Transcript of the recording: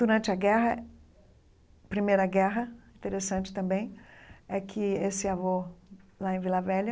Durante a guerra, Primeira Guerra, interessante também, é que esse avô, lá em Vila Velha,